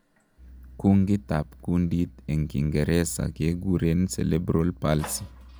kungit ap kundit en kingeresa keguren Celebral Palsy